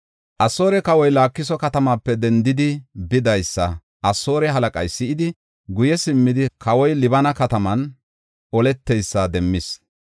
Asoore kawoy Laakiso katamaape dendidi bidaysa Asoore halaqay si7idi, guye simmidi kawoy Libina kataman oleteysa demmis.